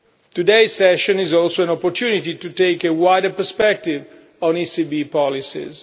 Today's session is also an opportunity to take a wider perspective on ECB policies.